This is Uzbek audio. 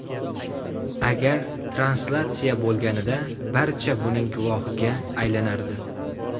Agar translyatsiya bo‘lganida, barcha buning guvohiga aylanardi.